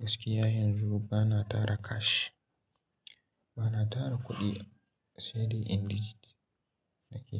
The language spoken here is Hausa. Gaskiya yanzu bana tara kashi, bana tara kuɗi CD in digit nake